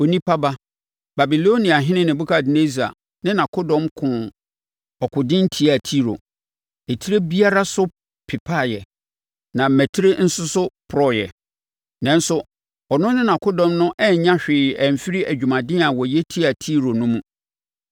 “Onipa ba, Babiloniahene Nebukadnessar ne nʼakodɔm koo ɔkoden tiaa Tiro, etire biara so pepaeɛ na mmatire nso so popɔreeɛ. Nanso ɔno ne nʼakodɔm no annya hwee amfiri adwumaden a wɔyɛ de tiaa Tiro no mu.